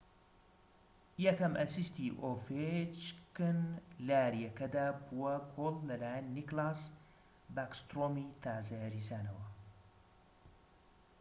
یەکەم ئەسیستی ئۆڤێچکن لە یاریەکەدا بووە گۆڵ لەلایەن نیکلاس باکسترۆمی تازە یاریزانەوە